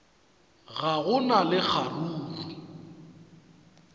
ga go na le kgaruru